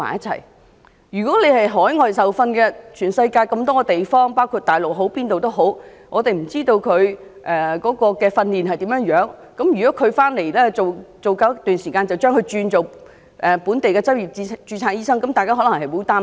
對於海外受訓的醫生，全世界各地包括大陸，我們也不知道他們如何訓練，假如讓他們在港工作一段時間後，便可轉為本地的執業註冊醫生，這樣大家可能會很擔心。